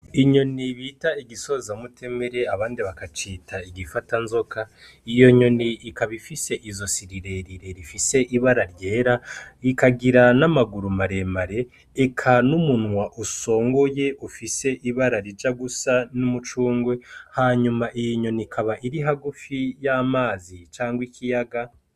Inyoni ibita igisoza mutemere abandi bagacita igifata nzoka, iyo nyoni ikabifise izo si rirerire rifise ibara ryera ikagira n'amaguru maremare eka n'umunwa usongoye ufise ibara rija gusa n'umucungwe hanyuma iyi nyoni ikaba iri ha gufiya amazi canga ikiyaga.